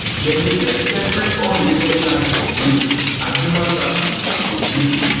dem dey face separate unrelated charges of rape and human trafficking for di uk